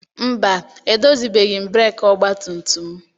Mba, edozibeghị m breeki ọgbatumtum m.